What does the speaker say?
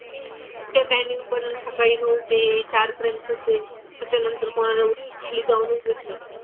ते टायमिंग पण सकाळी नऊ ते चारपर्यंतच आहे. त्याच्यानंतर कोणाला खाली जाऊनच देत नाहीत.